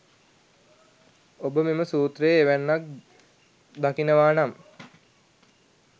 ඔබ මෙම සූත්‍රයේ එවැන්නක් දකිනවා නම්